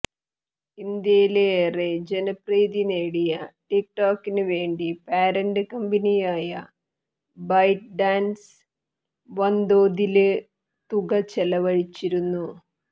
ഇന്ത്യയില് ഏറെ ജനപ്രീതി നേടിയ ടിക്ടോകിനു വേണ്ടി പാരന്റ് കമ്ബനിയായ ബൈറ്റ്ഡാന്സ് വന്തോതില് തുക ചെലവഴിച്ചിരുന്നു